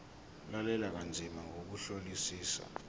lalela kanzima ngokuhlolisisa